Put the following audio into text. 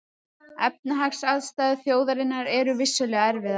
Efnahagsaðstæður þjóðarinnar eru vissulega erfiðar